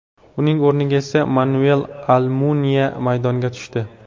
Uning o‘rniga esa Manuel Almuniya maydonga tushdi.